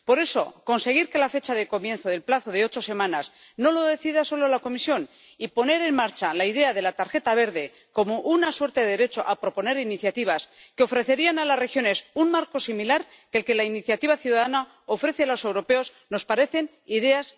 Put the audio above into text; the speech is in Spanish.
Por eso, conseguir que la fecha de comienzo del plazo de ocho semanas no la decida solo la Comisión y poner en marcha la idea de la tarjeta verde como una suerte de derecho a proponer iniciativas que ofrecerían a las regiones un marco similar al que la iniciativa ciudadana ofrece a los europeos nos parecen ideas muy acertadas.